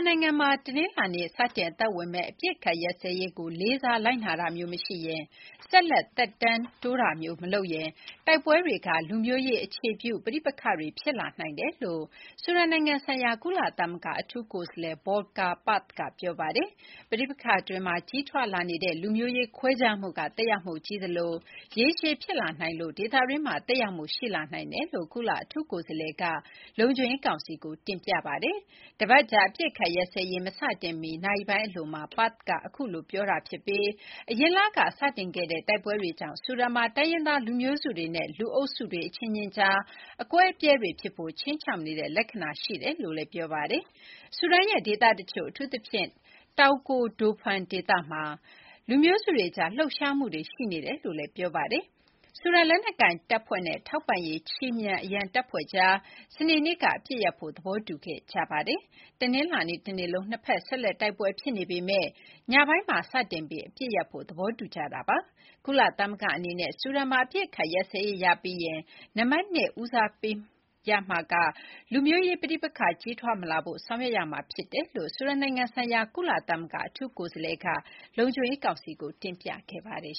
နိုင်ငံမှာ တနင်္လာနေ့ စတင်အသက်ဝင်မယ့် အပစ်အခတ်ရပ်စဲရေးကို လေးစားလိုက်နာတာမျိုး မရှိရင်၊ ဆက်လက် သက်တမ်းတိုးတာမျိုးမလုပ်ရင် တိုက်ပွဲတွေက လူမျိုးရေး အခြေပြု ပဋိပက္ခတွေ ဖြစ်လာနိုင်တယ်လို့ ဆူဒန်နိုင်ငံဆိုင်ရာ ကုလသမဂ္ဂ အထူးကိုယ်စားလှယ် Volker Perthes က ပြောပါတယ်။ “ပဋိပက္ခ အတွင်းမှာ ကြီးထွားလာနေတဲ့ လူမျိုးရေးခွဲခြားမှုက သက်ရောက်မှုကြီးသလို ရေရှည်ဖြစ်လာနိုင်လို့ ဒေသတွင်းမှာ သက်ရောက်မှုရှိလာနိုင်တယ်” လို့ ကုလ အထူးကိုယ်စားလှယ်က လုံခြုံရေးကောင်စီကို တင်ပြခဲ့တာပါ။ တပတ်ကြာ အပစ်အခတ်ရပ်စဲရေးမစတင်မီ နာရီပိုင်းအလိုမှာ Perthes က အဲဒီလို ပြောကြာခဲ့ပြီး အရင်လက စတင်ခဲ့တဲ့ တိုက်ပွဲတွေကြောင့် ဆူဒန်မှာ တိုင်းရင်းသား လူမျိုးစုတွေနဲ့ လူအုပ်စုတွေ အချင်းချင်း ကြား အကွဲအပြဲ တွေဖြစ်ဖို့ ခြိမ်းခြောက်နေတဲ့ လက္ခဏာတွေရှိနေတယ်လို့ ပြောပါတယ်။ ဆူဒန်ရဲ့ ဒေသတချို့ အထူးသဖြင့် တောင်ကိုဒိုဖန် ဒေသမှာ လူမျိုးစုတွေကြား လှုပ်ရှားမှုတွေ ရှိနေတယ်လို့ ဆိုပါတယ်။ ဆူဒန်လက်နက်ကိုင်တပ်ဖွဲ့ (SAF) နဲ့ ထောက်ပံ့ရေးခြေမြန်အရံ တပ်ဖွဲ့ (RSF) တွေကြား စနေနေ့က အပစ်ရပ်ဖို့ သဘောတူခဲ့ကြပါတယ်။ တနင်္လာနေ့ တနေ့လုံး နှစ်ဖက် ဆက်လက်တိုက်ပွဲဖြစ်နေပေမယ့် ညပိုင်းမှာ စတင် ပြီး အပစ်ရပ်ဖို့ သဘောတူထားကြတာပါ။ ကုလသမဂ္ဂအနေနဲ့ ဆူဒန်မှာ အပစ်အခတ်ရပ်စဲရေးရပြီးရင် နံပါတ်နှစ် ဦးစားပေးမှာ လူမျိုးရေး ပဋိပက္ခ ကြီးထွားမလာဖို့ ဆောင်ရွက်ရမှာ ဖြစ်တယ်လို့ ဆူဒန် နိုင်ငံဆိုင်ရာကုလ အထူးကိုယ်စားလှယ်က လုံခြုံရေးကောင်စီကို ပြောခဲ့ပါတယ်